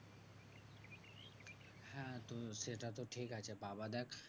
হ্যাঁ তো সেটা তো ঠিক আছে বাবা দেখ